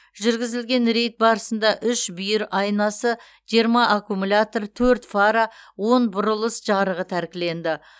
жүргізілген рейд барысында үш бүйір айнасы жиырма аккумулятор төрт фара он бұрылыс жарығы тәркіленді